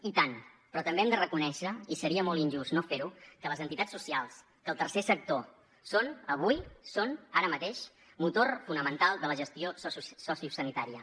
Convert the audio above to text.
i tant però també hem de reconèixer i seria molt injust no fer ho que les entitats socials que el tercer sector són avui són ara mateix motor fonamental de la gestió sociosanitària